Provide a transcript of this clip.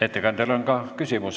Ettekandjale on ka küsimus.